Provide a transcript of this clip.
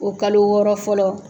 O kalo wɔɔrɔ fɔlɔ.